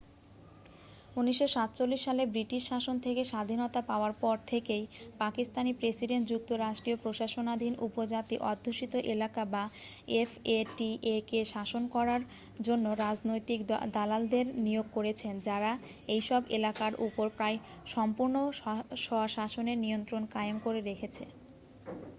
1947 সালে ব্রিটিশ শাসন থেকে স্বাধীনতা পাওয়ার পর থেকেই পাকিস্তানী প্রেসিডেন্ট যুক্তরাষ্ট্রীয় প্রশাসনাধীন উপজাতি অধ্যুষিত এলাকা বা এফ এ টি এ-কে শাসন করার জন্য রাজনৈতিক দালালদের নিয়োগ করেছেন যারা এইসব এলাকার উপর প্রায়-সম্পূর্ণ স্বশাসনের নিয়ন্ত্রণ কায়েম করে রেখেছে